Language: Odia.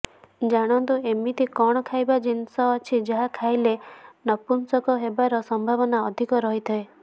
ଜାଣନ୍ତୁ ଏମିତ କଣ ଖାଇବା ଜିନିଷ ଅଛି ଯାହା ଖାଇଲେ ନପୁଂସକ ହେବାର ସମ୍ଭାବନ ଅଧିକ ରହିଥାଏ